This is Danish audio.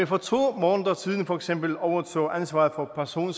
for to måneder siden for eksempel overtog ansvaret for person